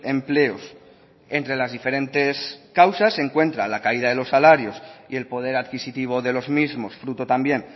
empleos entre las diferentes causas se encuentra la caída de los salarios y el poder adquisitivo de los mismos fruto también